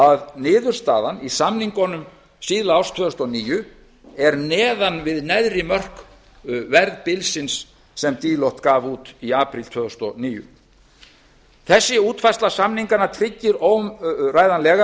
að niðurstaðan í samningunum síðla árs tvö þúsund og níu er neðan við neðri mörk verðbilsins sem deloitte gaf út í apríl tvö þúsund og níu þessi útfærsla samninganna tryggir óumræðanlega